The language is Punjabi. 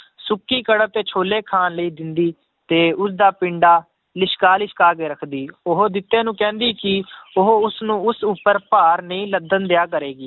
ਸੁੱਕੀ ਕਣਕ ਤੇ ਛੋਲੇ ਖਾਣ ਲਈ ਦਿੰਦੀ, ਤੇ ਉਸਦਾ ਪਿੰਡਾ ਲਿਸ਼ਕਾ ਲਿਸ਼ਕਾ ਕੇ ਰੱਖਦੀ ਉਹ ਜਿੱਤੇ ਨੂੰ ਕਹਿੰਦੀ ਕਿ ਉਹ ਉਸਨੂੰ ਉਸ ਉੱਪਰ ਭਾਰ ਨਹੀਂ ਲੱਦਣ ਦਿਆ ਕਰੇਗੀ